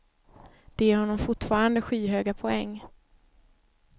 De ger honom fortfarande skyhöga poäng.